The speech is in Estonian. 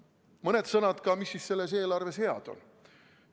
Mõned sõnad ka sellest, mis selles eelarves head on.